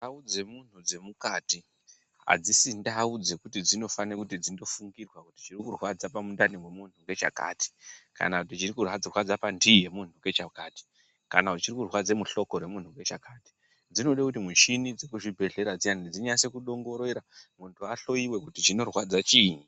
Ndau dzemunhu dzemukati, adzisisi ndau dzekuti dzinofanirwa kundofungira kuti chinorwadza mundani mwemunthu ngechakati, kana chiri kurwadza panhii yemunhu ngechakati, kana chiri kurwadza muhloko memunhu ngechakati. Dzinode kuti mishini inyase kudongorera munhu ahloyiwa kuti chinorwadza chiinyi.